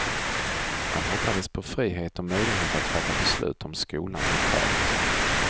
Man hoppades på frihet och möjlighet att fatta beslut om skolan lokalt.